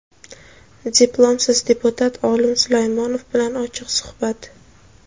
diplomsiz deputat Olim Sulaymonov bilan ochiq suhbat.